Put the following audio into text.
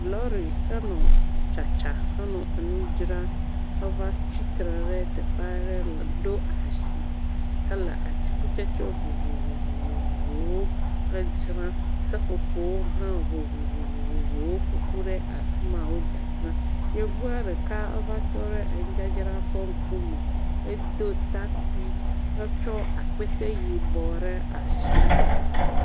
Lɔri xe nɔ tsatsa xenɔ nu dzra va tsitre ɖe teƒe aɖe le ɖo asi hele atikutsetse vovovovovowo ƒe dzram seƒoƒowo vovovovoowo ƒoƒu ɖe afi ma wo dzadzram yevua ɖeka eva tɔ ɖe enudzadzra ƒe ŋkume, edo takpui etsɔ akpete yibɔ aɖe ɖe asi